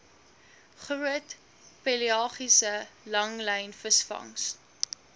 groot pelagiese langlynvisvangs